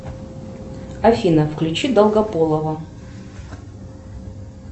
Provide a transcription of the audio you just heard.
афина включи долгополова